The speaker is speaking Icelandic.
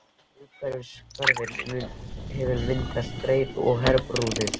Umhverfis hverinn hefur myndast breiða af hverahrúðri.